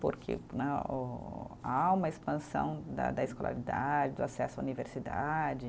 Porque né oh, há uma expansão da da escolaridade, do acesso à universidade.